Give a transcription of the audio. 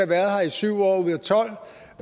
været her i syv år